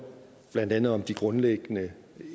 blandt andet om de grundlæggende